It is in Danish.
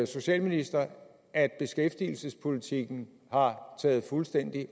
socialministre at beskæftigelsespolitikken har taget fuldstændig